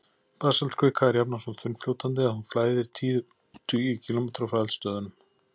Basaltkvika er jafnan svo þunnfljótandi að hún flæðir tíðum tugi kílómetra frá eldstöðvunum.